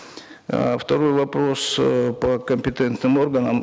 э второй вопрос э по компетентным органам